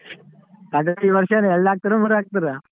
Cut out ಈ ವರ್ಷ ಏನ್ ಎಲ್ಡ್ ಹಾಕ್ತಿರೋ ಮೂರ್ ಹಾಕ್ತಿರೋ?